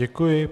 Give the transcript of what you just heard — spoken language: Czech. Děkuji.